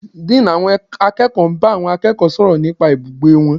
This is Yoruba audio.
Dean àwọn akẹ́kọ̀ọ́ bá àwọn akẹ́kọ̀ọ́ sọ̀rọ̀ nípa ibùgbé wọn.